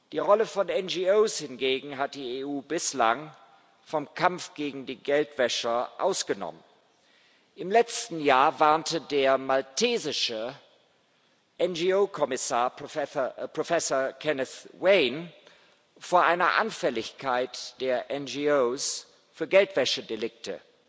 Die Rolle von NGOs hingegen hat die EU bislang vom Kampf gegen die Geldwäscher ausgenommen. Im letzten Jahr warnte der maltesische NGO Kommissar Professor Kenneth Wain vor einer Anfälligkeit der NGOs für Geldwäschedelikte